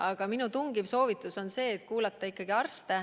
Aga minu tungiv soovitus on kuulata arste.